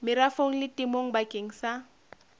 merafong le temong bakeng sa